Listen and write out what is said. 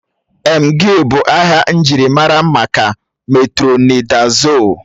Emgịl bụ aha njirimara maka metrọnidazol